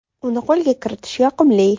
Uni qo‘lga kiritish yoqimli.